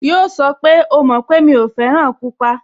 Yíò sọ pé, "O mọ̀ pé mi ò fẹ́ràn pupa"